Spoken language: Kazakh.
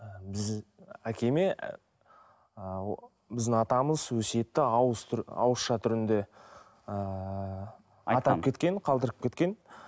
біз әкеме ы біздің атамыз өсиетті ауызша түрінде ыыы кеткен қалдырып кеткен